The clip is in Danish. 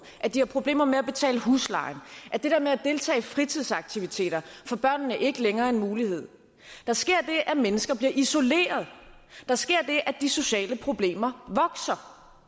at de har problemer med at betale husleje at det der med at deltage i fritidsaktiviteter for børnene ikke længere er en mulighed der sker det at mennesker bliver isolerede der sker det at de sociale problemer vokser